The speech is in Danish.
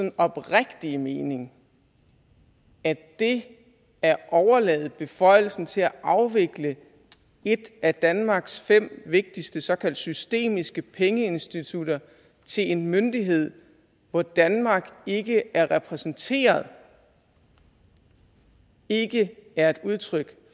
oprigtige mening at det at overlade beføjelsen til at afvikle et af danmarks fem vigtigste såkaldt systemiske pengeinstitutter til en myndighed hvor danmark ikke er repræsenteret ikke er et udtryk